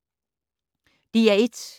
DR1